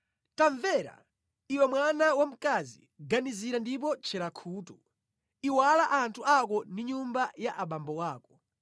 Tamvera, iwe mwana wa mkazi ganizira ndipo tchera khutu; iwala anthu ako ndi nyumba ya abambo ako.